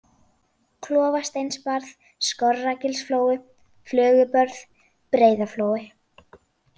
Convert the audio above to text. Klofasteinsbarð, Skorragilsflói, Flögubörð, Breiðaflói